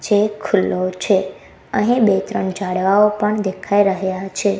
જે ખુલ્લો છે અહીં બે ત્રણ ઝાડવાઓ પણ દેખાય રહ્યા છે.